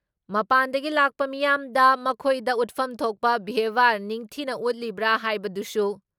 ꯃꯄꯥꯥꯟꯗꯒꯤ ꯂꯥꯛꯄ ꯃꯤꯌꯥꯝꯗ ꯃꯈꯣꯏꯗ ꯎꯠꯐꯝ ꯊꯣꯛꯄ ꯕ꯭ꯌꯥꯕꯍꯥꯔ ꯅꯤꯡꯊꯤꯅ ꯎꯠꯂꯤꯕ꯭ꯔꯥ ꯍꯥꯏꯕꯗꯨꯁꯨ